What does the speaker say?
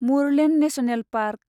Murlen national park